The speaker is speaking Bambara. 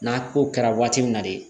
N'a ko kɛra waati min na de